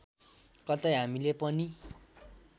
कतै हामीले पनि